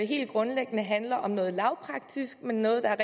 helt grundlæggende handler om noget lavpraktisk men noget der er